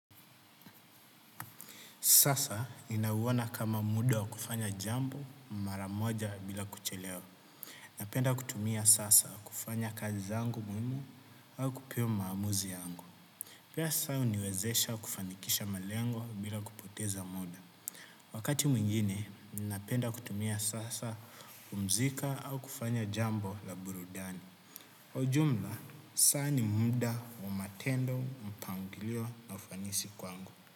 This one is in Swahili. Sasa ninauona kama muda wa kufanya jambo, mara moja bila kuchelewa. Napenda kutumia sasa kufanya kazi zangu muhimu, au kupima maamuzi yangu. Pia saa huniwezesha kufanikisha malengo, bila kupoteza muda. Wakati mwingine, napenda kutumia saa hasa kupumzika au kufanya jambo la burudani. Kwa ujumla, saa ni muda wa matendo, mpangilio na ufanisi kwangu.